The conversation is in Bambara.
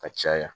Ka caya